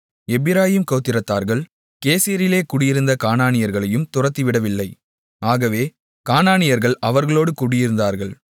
எப்பிராயீம் கோத்திரத்தார்கள் கேசேரிலே குடியிருந்த கானானியர்களையும் துரத்திவிடவில்லை ஆகவே கானானியர்கள் அவர்களோடு குடியிருந்தார்கள்